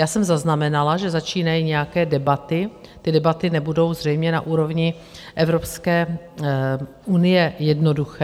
Já jsem zaznamenala, že začínají nějaké debaty, ty debaty nebudou zřejmě na úrovni Evropské unie jednoduché.